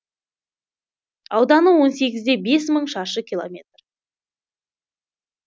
ауданы он сегізде бес мың шаршы километр